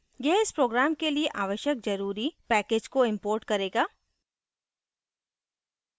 यह इस program के लिए आवश्यक जरूरी packages को import करेगा